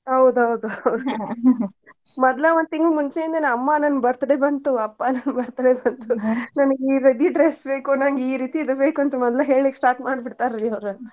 ಹೌದ್ ಹೌದ್ ಮದ್ಲ ಒಂದ್ ತಿಂಗ್ಳ್ ಮುಂಚೆಯಿಂದನೆ ಅಮ್ಮ ನನ್ birthday ಬಂತು ಅಪ್ಪಾ ನನ್ birthday ಬಂತು ನನಗ್ ಈ ready dress ಬೇಕು ನನ್ಗ್ ಈರೀತಿ ಇದ್ ಬೇಕು ಅಂತ್ ಮದ್ಲ ಹೇಳಿಕ್ start ಮಾಡ್ಬಿಡ್ತಾರೀ ಅವ್ರ.